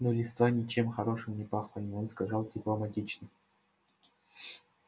но листва ничем хорошим не пахла и он сказал дипломатично